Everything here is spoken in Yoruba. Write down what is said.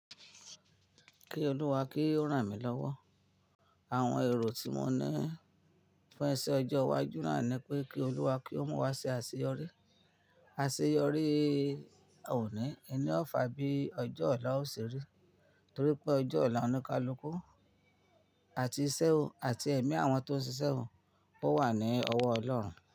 Kí Olúwa kí ó ràn mí lọ́wọ́. Àwọn èrò tí mo ní fún ẹsẹ̀ ọjọ́ iwájú náà ni pé kí Olúwa kí ó mú wa ṣe àṣeyọrí. Àṣeyọrí òní, ẹ ni ọ̀fà bí ọjọ́ ọ̀la ó ṣeré, torí pé ọjọ́ ọ̀la oníkálukú àti iṣẹ́ òun àti ẹ̀mí àwọn tó ń ṣiṣẹ́ òun kó wà ní ọwọ́ Ọlọ́run.